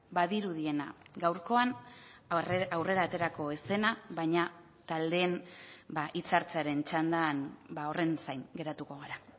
badirudiena gaurkoan aurrera aterako ez dena baina taldeen hitzartzearen txandan horren zain geratuko gara